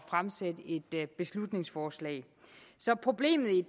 fremsætte et beslutningsforslag så problemet i